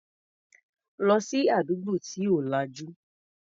Lọ sí àdúgbò tí ò lajú.